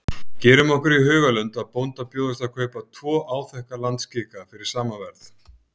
Gerum okkur í hugarlund að bónda bjóðist að kaupa tvo áþekka landskika fyrir sama verð.